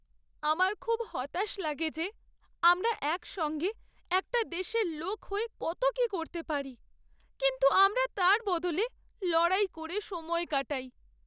আমার খুব হতাশ লাগে যে আমরা একসঙ্গে একটা দেশের লোক হয়ে কত কী করতে পারি কিন্তু আমরা তার বদলে লড়াই করে সময় কাটাই!